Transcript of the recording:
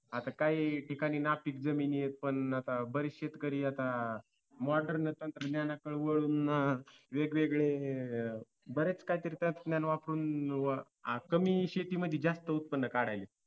आता काही ठिकाणी नापिक जमिनी आहेत पण आता बरेच शेतकरी आता modern तंत्रज्ञानाकडे वळून वेगवेगळे अह बरेच काही तरी तंत्रज्ञान वापरून कमी शेती मध्ये जास्त उत्पन्न काढायलये